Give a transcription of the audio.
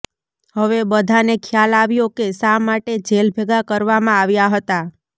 હવે બધાંને ખ્યાલ આવ્યો કે શા માટે જેલભેગાં કરવામાં આવ્યા હતા